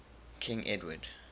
king edward